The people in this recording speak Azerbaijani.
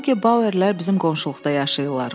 Noke Bauerlər bizim qonşuluqda yaşayırlar.